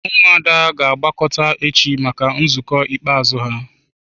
Ụmụada ga-agbakọta echi maka nzukọ ikpeazụ ha.